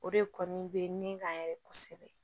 O de kɔni be nin kan yɛrɛ kosɛbɛ